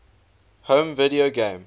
home video game